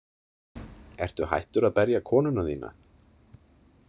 „Ertu hættur að berja konuna þína?“